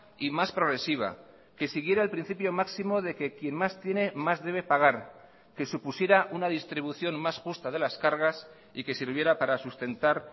y más progresiva que siguiera el principio máximo de que quien más tiene más debe pagar que supusiera una distribución más justa de las cargas y que sirviera para sustentar